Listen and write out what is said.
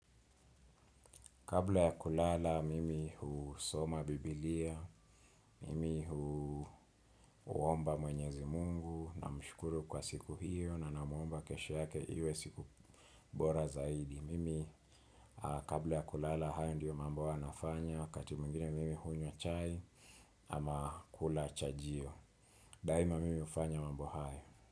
Kabla ya kulala mimi husoma bibilia, mimi huomba mwenyezi mungu namshukuru kwa siku hiyo na namuomba kesho yake iwe siku bora zaidi. Mimi kabla ya kulala hayo ndiyo mambo huwa nafanya wakati mwingine mimi hunywa chai ama kula chajio. Daima mimi hufanya mambo hayo.